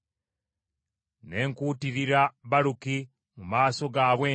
“Ne nkuutirira Baluki mu maaso gaabwe nti,